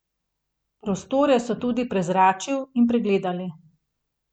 Prostore so tudi prezračil in pregledali.